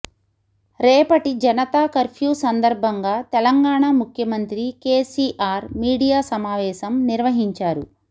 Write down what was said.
రేపటి జనతా కర్ఫ్యూ సందర్బంగా తెలంగాణ ముఖ్యమంత్రి కేసీఆర్ మీడియా సమావేశం నిర్వహించారు